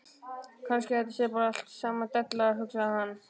Kannski þetta sé bara allt saman della, hugsaði hann.